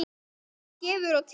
Guð gefur og tekur.